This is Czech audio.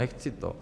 Nechci to.